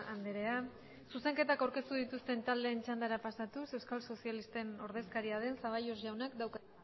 andrea zuzenketak aurkeztu dituzten taldeen txandara pasatuz euskal sozialisten ordezkaria den zaballos jaunak dauka